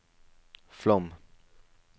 Flåm